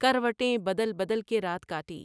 کروٹیں بدل بدل کے رات کائی ۔